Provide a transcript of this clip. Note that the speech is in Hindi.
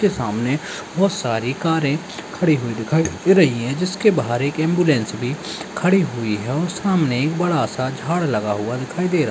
के सामने बहुत सारी कारें खड़ी हुई दिखाई दे रही हैं जिसके बाहर एक एंबुलेंस भी खड़ी हुई हैं और सामने एक बड़ा सा झाड़ लगा हुआ दिखाई दे रहा --